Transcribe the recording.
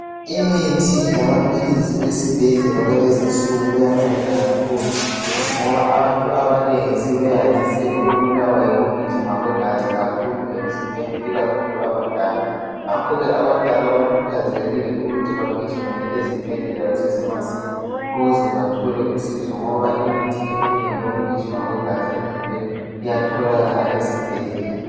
Imithi yamaphilisi kwesibhedlela kwalezinsuku kuyanceda kakhulu ngoba abantu abanengi sebeyandise ukubulawa yokugijima kwegazi kakhulu emzimbeni ikakhulu abadala. Ngakho abadala bakhuthazekile ukuthi bagijimele ezibhedlela kusesemasinya ngoba imithi eminengi yokugijima kwegazi iyatholakala ezibhedlela.